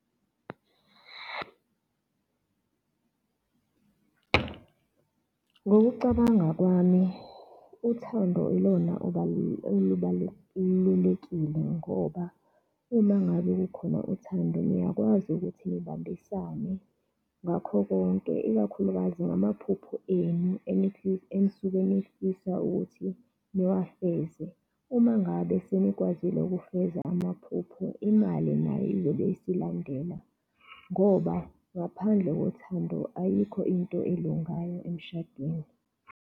Ngokucabanga kwami uthando ilona olubalulekile ngoba uma ngabe kukhona uthando, niyakwazi ukuthi nibambisane ngakho konke, ikakhulukazi ngamaphupho enu enisuke nifisa ukuthi niwafeze. Uma ngabe senikwazile ukufeza amaphupho, imali nayo izobe isilandela, ngoba ngaphandle kothando, ayikho into elungayo emshadweni.